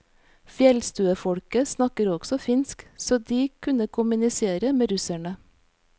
Fjellstuefolket snakket også finsk, så de kunne kommunisere med russerne.